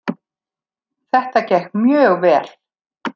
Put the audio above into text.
Þetta gekk mjög vel